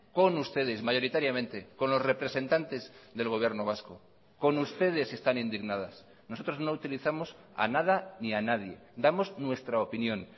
con ustedes mayoritariamente con los representantes del gobierno vasco con ustedes están indignadas nosotros no utilizamos a nada ni a nadie damos nuestra opinión